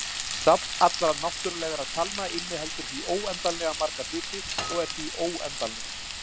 Safn allra náttúrulegra talna inniheldur því óendanlega marga hluti og er því óendanlegt.